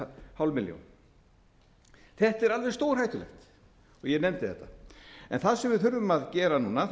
hálf milljón þetta er alveg stórhættulegt og ég nefndi þetta það sem við þurfum að gera núna